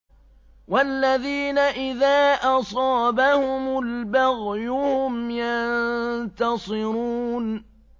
وَالَّذِينَ إِذَا أَصَابَهُمُ الْبَغْيُ هُمْ يَنتَصِرُونَ